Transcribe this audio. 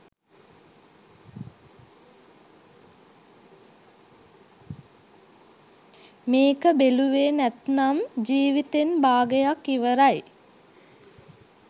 මේක බෙලුවේ නැත්නම් ජීවිතෙන් බාගයක් ඉවරයි.